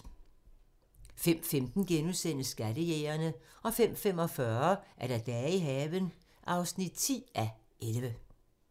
05:15: Skattejægerne * 05:45: Dage i haven (10:11)